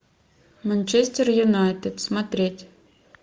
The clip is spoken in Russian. манчестер юнайтед смотреть